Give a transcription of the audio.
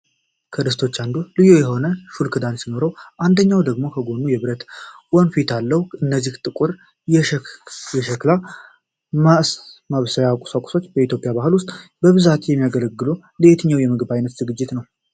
ከድስቶቹ አንዱ ልዩ የሆነ ሹል ክዳን ሲኖረው፣ አንደኛው ደግሞ ከጎኑ የብረት ወንፊት አለው። እነዚህ ጥቁር የሸክላ ማብሰያ ቁሳቁሶች በኢትዮጵያ ባህል ውስጥ በብዛት የሚያገለግሉት ለየትኛው የምግብ ዓይነት ዝግጅት ነው?